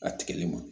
A tigɛli ma